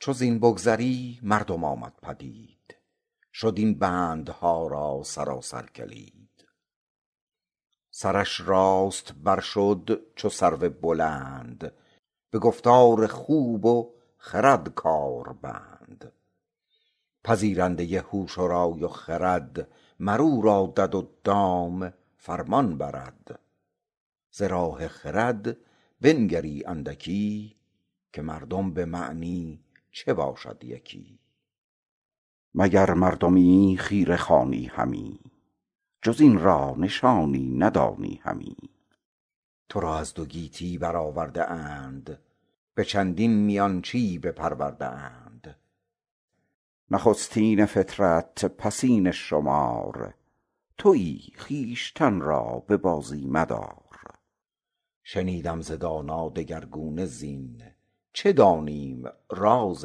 چو زین بگذری مردم آمد پدید شد این بندها را سراسر کلید سرش راست بر شد چو سرو بلند به گفتار خوب و خرد کار بند پذیرنده هوش و رای و خرد مر او را دد و دام فرمان برد ز راه خرد بنگری اندکی که مردم به معنی چه باشد یکی مگر مردمی خیره خوانی همی جز این را نشانی ندانی همی تو را از دو گیتی بر آورده اند به چندین میانچی بپرورده اند نخستین فطرت پسین شمار تویی خویشتن را به بازی مدار شنیدم ز دانا دگرگونه زین چه دانیم راز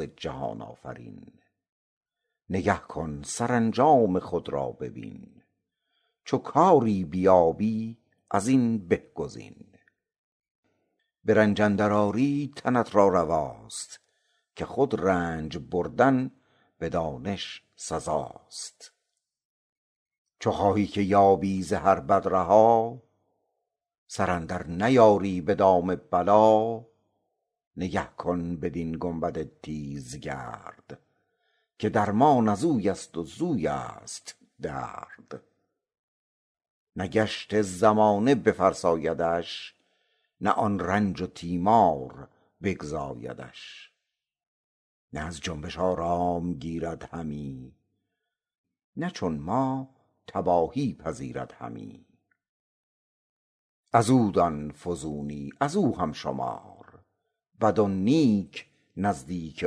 جهان آفرین نگه کن سرانجام خود را ببین چو کاری بیابی از این به گزین به رنج اندر آری تنت را رواست که خود رنج بردن به دانش سزاست چو خواهی که یابی ز هر بد رها سر اندر نیاری به دام بلا نگه کن بدین گنبد تیزگرد که درمان ازوی است و زویست درد نه گشت زمانه بفرسایدش نه آن رنج و تیمار بگزایدش نه از جنبش آرام گیرد همی نه چون ما تباهی پذیرد همی از او دان فزونی از او هم شمار بد و نیک نزدیک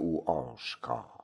او آشکار